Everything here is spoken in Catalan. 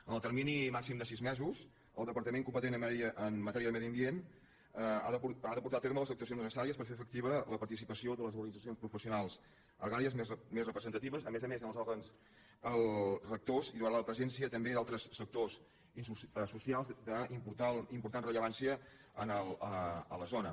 en el termini màxim de sis mesos el departament competent en matèria de medi ambient ha de portar a terme les actuacions necessàries per fer efectiva la participació de les organitzacions pro·fessionals agràries més representatives a més a més en els òrgans rectors i la presència també d’altres sectors socials d’important rellevància a la zona